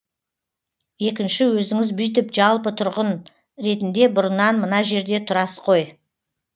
екінші өзіңіз бүйтіп жалпы тұрғын ретінде бұрыннан мына жерде тұрас қой